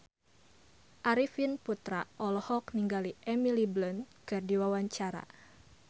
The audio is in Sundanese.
Arifin Putra olohok ningali Emily Blunt keur diwawancara